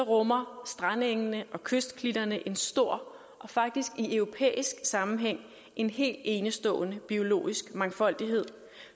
rummer strandengene og kystklitterne en stor og faktisk i europæisk sammenhæng en helt enestående biologisk mangfoldighed